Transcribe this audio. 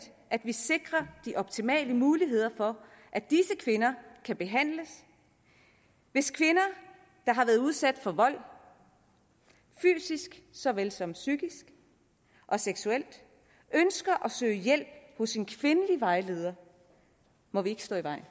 at vi sikrer de optimale muligheder for at disse kvinder kan behandles hvis kvinder der har været udsat for vold fysisk så vel som psykisk og seksuelt ønsker at søge hjælp hos en kvindelig vejleder må vi ikke stå i vejen